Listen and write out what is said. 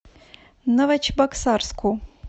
новочебоксарску